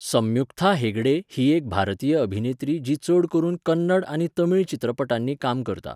सम्युक्था हेगडे ही एक भारतीय अभिनेत्री जी चड करून कन्नड आनी तमीळ चित्रपटांनी काम करता.